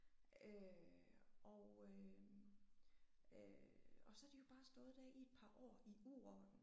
Øh og øh øh og så er de jo bare stået der i et par år i uorden